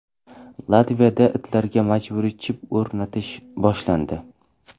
Latviyada itlarga majburiy chip o‘rnatish boshlandi.